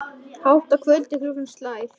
Hátt að kvöldi klukkan slær.